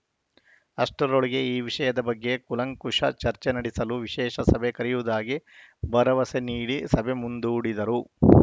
ಅಷ್ಟರೊಳಗೆ ಈ ವಿಷಯದ ಬಗ್ಗೆ ಕೂಲಂಕುಷ ಚರ್ಚೆ ನಡೆಸಲು ವಿಶೇಷ ಸಭೆ ಕರೆಯುವುದಾಗಿ ಭರವಸೆ ನೀಡಿ ಸಭೆ ಮುಂದೂಡಿದರು